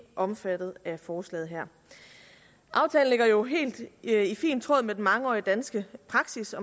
omfattet af forslaget her aftalen ligger jo helt i fint tråd med den mangeårige danske praksis